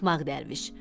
Axmaq dərviş.